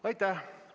Aitäh!